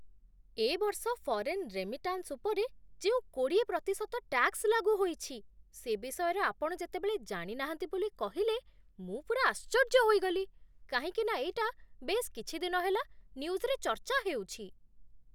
ଏ ବର୍ଷ foreign remittance ଉପରେ ଯେଉଁ କୋଡ଼ିଏ ପ୍ରତିଶତ ଟ୍ୟାକ୍ସ୍ ଲାଗୁ ହୋଇଛି, ସେ ବିଷୟରେ ଆପଣ ଯେତେବେଳେ ଜାଣିନାହାନ୍ତି ବୋଲି କହିଲେ ମୁଁ ପୂରା ଆଶ୍ଚର୍ଯ୍ୟ ହୋଇଗଲି, କାହିଁକିନା ଏଇଟା ବେଶ୍ କିଛି ଦିନ ହେଲା ନ୍ୟୁଜ୍‌ରେ ଚର୍ଚ୍ଚା ହେଉଛି।